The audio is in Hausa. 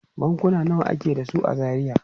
Bankuna nawa ake da su a Zaria?